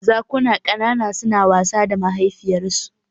Zakuna ƙanana suna wasa da mahaifiyarsu